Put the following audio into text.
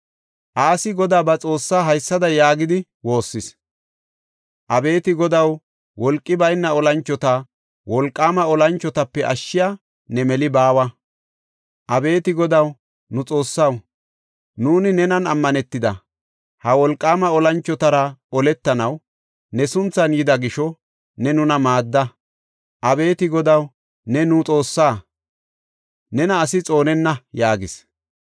Asi Godaa ba Xoossaa haysada yaagidi woossis; “Abeeti Godaw, wolqi bayna olanchota wolqaama olanchotape ashshey ne meli baawa. Abeeti Godaw, nu Xoossaw, nuuni nenan ammanetidi, ha wolqaama olanchotara oletanaw ne sunthan yida gisho ne nuna maadda. Abeeti Godaw, ne nu Xoossaa; nena asi xoonenna” yaagis.